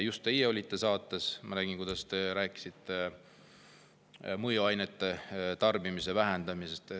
Just te olite saates, ma nägin, kuidas te rääkisite mõjuainete tarbimise vähendamisest.